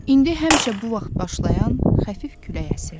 İndi həmişə bu vaxt başlayan xəfif külək əsirdi.